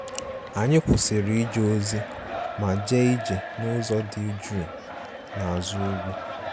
Anyị kwụsịrị ije ozi ma jee ije n'ụzọ dị jụụ n'azụ ugwu